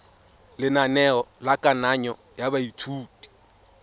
lenaneo la kananyo ya baithuti